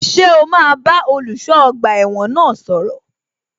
Ṣé o máa bá olùṣọ́ ọgbà ẹ̀wọ̀n náà sọ̀rọ̀?